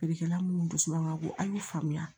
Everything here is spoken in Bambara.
Feerekɛla munnu dusu man ka go a ye faamuya